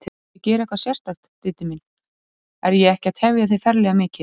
Ertu að gera eitthvað sérstakt, Diddi minn. er ég ekki að tefja þig ferlega mikið?